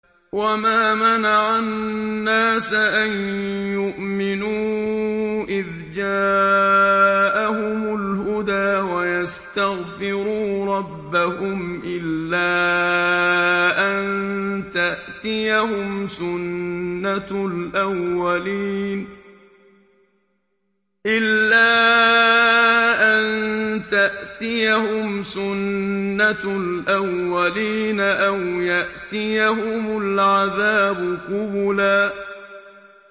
وَمَا مَنَعَ النَّاسَ أَن يُؤْمِنُوا إِذْ جَاءَهُمُ الْهُدَىٰ وَيَسْتَغْفِرُوا رَبَّهُمْ إِلَّا أَن تَأْتِيَهُمْ سُنَّةُ الْأَوَّلِينَ أَوْ يَأْتِيَهُمُ الْعَذَابُ قُبُلًا